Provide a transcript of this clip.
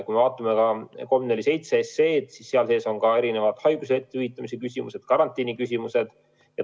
Kui me vaatame 347 SE-d, siis seal on ka erinevad haiguslehtede hüvitamise küsimused, karantiini küsimused.